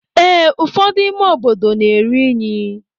Ee, ụfọdụ ime obodo na-eru unyi.